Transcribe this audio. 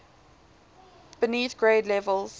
beneath grade levels